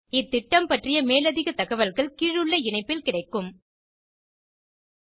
இந்த திட்டம் பற்றிய மேலதிக தகவல்கள் கீழுள்ள இணைப்பில் கிடைக்கும் இத்துடன் இந்த டுடோரியல் முடிகிறது